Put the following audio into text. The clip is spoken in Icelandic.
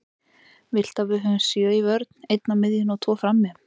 Viltu að við höfum sjö í vörn, einn á miðjunni og tvo frammi?